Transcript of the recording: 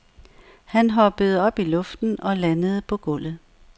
Han hoppede op i luften og landede på gulvet.